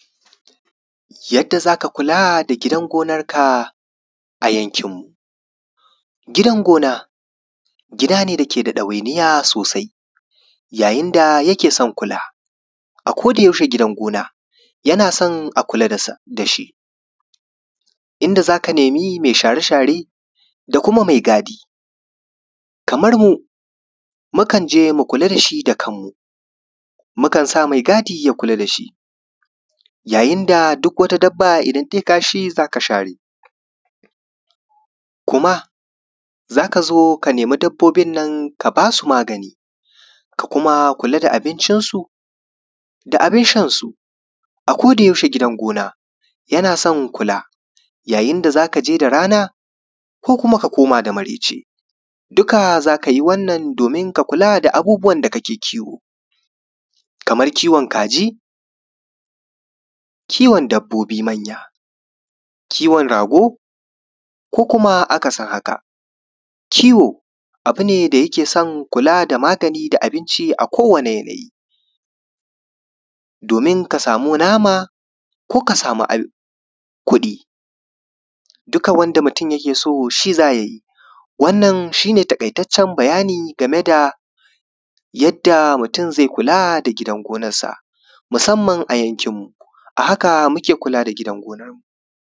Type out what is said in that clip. Yadda zaka kula da gidan gonanka a yankinmu, gidan gona gida ne wanda ke da ɗawainiya sosai, yayin da yake son kula ako da yaushewa gidan gona yana son a kula da shi inda za ka nemi me share-share da kuma me gadi, kamar mu mukan je mu kula da shi da kanmu mukan sa me gadi ya kula da shi yayin da duk wata dabba in tai kashi za ka share kuma za ka zo ka nemi dabbobin nan ka ba su magani ka kuma kula da abincinsu da abin shan su ako da yaushewa gidan gona yana son kula idan da za ka je da rana ko kuma ka koma da mareci, duka za ka yi wannan domin ka kula da abubuwan da kake kiwo, kamar kiwo kaji, kiwo dabbobin man'ya, kiwo rago, ko kuma akasin haka. Kiwo abu ne da yake son kula da magani da abinci a ko wanin yanayi domin ka samu nama ko ka samu abin kuɗi duka wanda mutum yake son shi za ka yi wannan shi ne takitaccen bayani game da yadda mutum ze kula da gidan gonansa musamman a yankinmu a haka muke kula da gidan gonarmu.